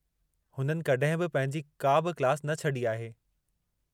हुननि कॾहिं बि पंहिंजी का बि क्लास न छॾी आहे।